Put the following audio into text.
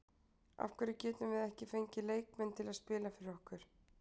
Af hverju getum við ekki fengið leikmenn til að spila fyrir okkur?